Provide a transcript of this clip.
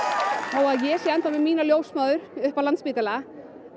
þó að ég sé ennþá með mína ljósmóður upp á Landspítala